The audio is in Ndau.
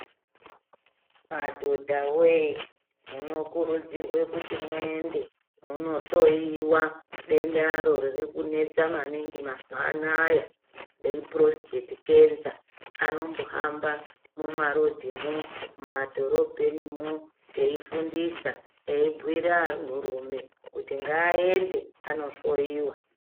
Madhodha woye munokurudzirwe kuti muende munohloyiwa dendaro riri kunetsa maningi mazuwa anaya, repurositeti kenza. Anombohamba mumarodhimwo, mumadhorobhenimwo eifundisa , eibhuira anhurume kuti ngaende anohloyiwa.